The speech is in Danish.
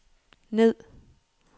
ned